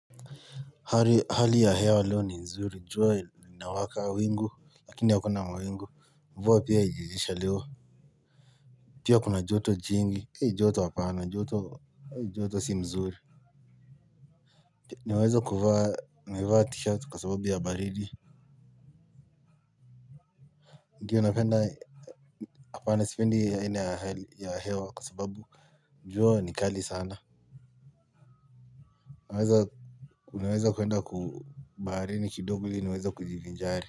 Hali ya hewa leo ni nzuri, jua inawaka, wingu, lakini hakuna mawingu, mvua pia iliisha leo, pia kuna joto jingi, joto hapana, joto si mzuri. Niweza kuvaa, nimevaa tishati kwa sababu ya baridi. Ndio napenda, hapana sipendi aina ya hewa kwa sababu jua ni kali sana. Naweza kuenda ku baharini kidogo ili niweza kujivinjari.